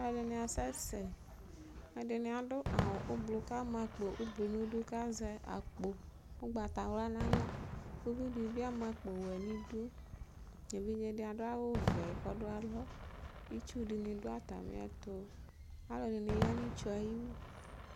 aloɛdini asɛ sɛ ɛdini ado awu ublɔ k'ama akpo ublɔ n'idu k'azɛ akpo ugbata wla n'ala uvi di bi ama akpo wɛ n'idu evidze di ado awu vɛ k'ɔdo alɔ itsu di ni do atamiɛto alo dini ya n'itsue ayiwu